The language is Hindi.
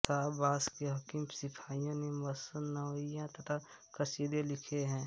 शाह अब्बास के हकीम शिफाई ने मसनवियाँ तथा कसीदे लिखे हैं